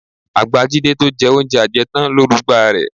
Àgbà Jídé tó jẹ oúnjẹ ajẹtán ló rugba rẹ